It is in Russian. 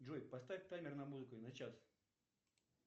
джой поставь таймер на музыку на час